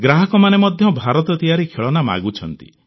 ଗ୍ରାହକମାନେ ମଧ୍ୟ ଭାରତ ତିଆରି ଖେଳନା ମାଗୁଛନ୍ତି